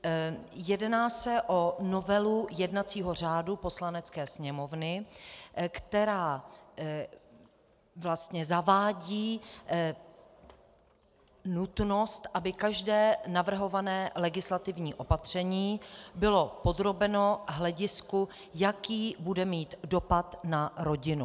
Jedná se o novelu jednacího řádu Poslanecké sněmovny, která vlastně zavádí nutnost, aby každé navrhované legislativní opatření bylo podrobeno hledisku, jaký bude mít dopad na rodinu.